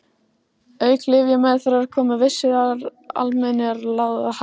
Auk lyfjameðferðar koma vissar almennar ráðleggingar að gagni.